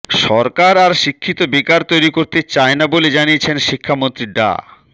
সরকার আর শিক্ষিত বেকার তৈরি করতে চায় না বলে জানিয়েছেন শিক্ষামন্ত্রী ডা